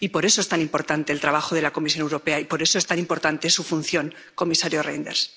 Y por eso es tan importante el trabajo de la Comisión Europea y por eso es tan importante su función, comisario Reynders.